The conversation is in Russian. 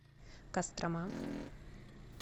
кострома